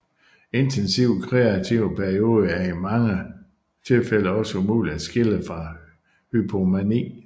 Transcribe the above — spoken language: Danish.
Intensivt kreative perioder er i mange tilfælde også umulige at skille fra hypomani